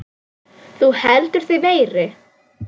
Þú heldur þig meiri.